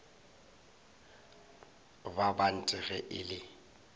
ba bant ge e le